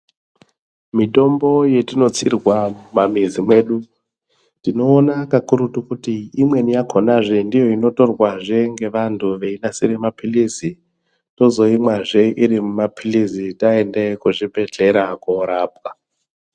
Mitombo yetinotsirwa mamizi medu, tinowona kakurutu kuti imweni yakhona zve, ndiyo inotorwa zve ngevantu veyinasire maphilisi. Tozoyimwa zve irimumaphilizi tayende kuzvibhedhlere korapwa.